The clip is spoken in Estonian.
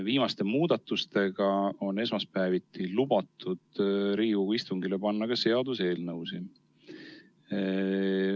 Viimaste muudatustega on esmaspäeviti lubatud Riigikogu istungile panna ka seaduseelnõusid.